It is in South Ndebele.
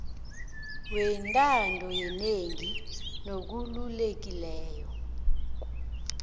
wentando yenengi nokhululekileko